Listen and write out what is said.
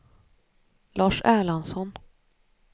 Lars Erlandsson